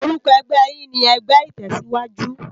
Òrúkò ègbè yèn ni ègbè itèsiwájú